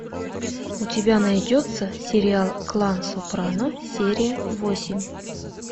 у тебя найдется сериал клан сопрано серия восемь